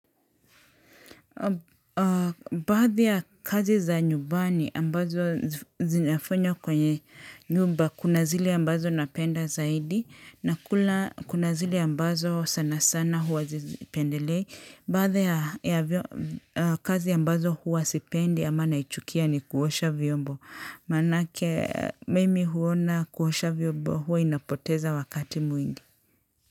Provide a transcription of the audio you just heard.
Baadho ya kazi za nyumbani ambazo zinafanywa kwenye nyumba, kunazile ambazo napenda zaidi, na kunazile ambazo sana sana huwa zizipendelei. Baadhi ya kazi ambazo huwa sipendi ama naichukia ni kuosha vyombo, maanake mimi huona kuosha vyombo huwa inapoteza wakati mwingi.